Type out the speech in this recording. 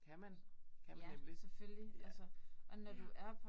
Kan man. Kan man nemlig. Ja. Ja